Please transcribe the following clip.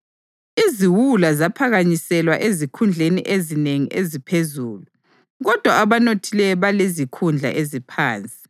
Iziwula ziphakanyiselwa ezikhundleni ezinengi eziphezulu, kodwa abanothileyo belezikhundla eziphansi.